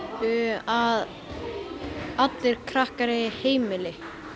að allir krakkar eigi heimili